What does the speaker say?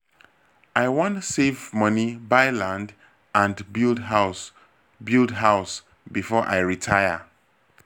i wan save money buy land and build house build house before i retire.